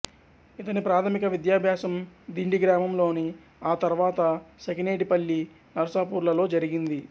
ఇతని ప్రాథమిక విద్యాభ్యాసం దిండి గ్రామంలోను ఆ తర్వాత సఖినేటిపల్లి నర్సాపూర్ లలో జరిగింది